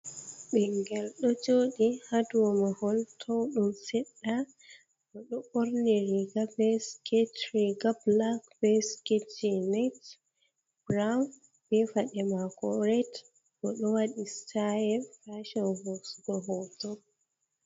Binngel ɗo joɗi haa do mahol towɗum seɗɗa bo ɗo ɓorni riiga bee siket, riiga black bee siket jins brown be faɗe maako ret bo ɗo waɗi style fashon hoosugo hooto